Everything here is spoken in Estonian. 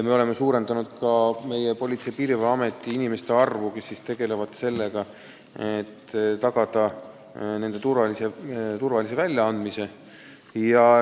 Me oleme ka suurendanud Politsei- ja Piirivalveametis inimeste arvu, kes tegelevad sellega, et tagada digi-ID turvaline väljaandmine.